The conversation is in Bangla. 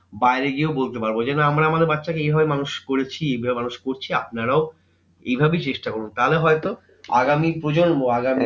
বাইরে গিয়েও বলতে পারবো যে না আমরা আমাদের বাচ্চাকে এইভাবে মানুষ করেছি বা মানুষ করছি আপনারাও এইভাবেই চেষ্টা করুন তাহলে হয়তো আগামী প্রজন্ম আগামী